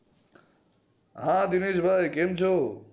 હા દિનેશભાઈ કેમ છો?